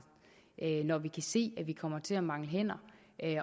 når vi kan se at vi kommer til at mangle hænder